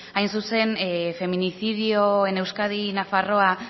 hain zuzen feminicidio en euskadi y nafarroa